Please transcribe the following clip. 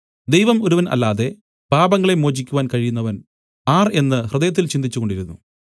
ദൈവം ഒരുവൻ അല്ലാതെ പാപങ്ങളെ മോചിക്കുവാൻ കഴിയുന്നവൻ ആർ എന്നു ഹൃദയത്തിൽ ചിന്തിച്ചുകൊണ്ടിരുന്നു